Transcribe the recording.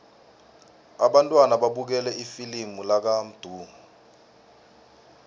abantwana babukele ifilimu lakamdu